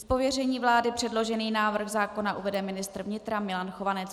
Z pověření vlády předložený návrh zákona uvede ministr vnitra Milan Chovanec.